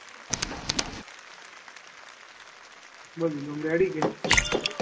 બોલ બીજું ઓમ ready કે